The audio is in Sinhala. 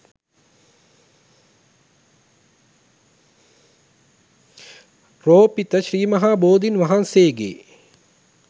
රෝපිත ශ්‍රී මහා බෝධීන් වහන්සේගේ